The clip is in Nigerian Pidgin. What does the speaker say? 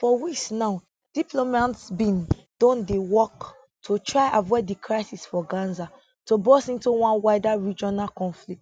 for weeks now diplomats bin don dey work to try avoid di crisis for gaza to burst into one wider regional conflict